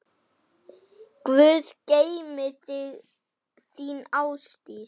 Guð geymi þig, þín, Ásdís.